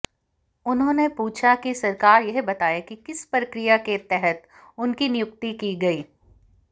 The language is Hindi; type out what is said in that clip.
उन्होंने पूछा कि सरकार यह बताए कि किस प्रक्रिया के तहत इनकी नियुक्ति की गई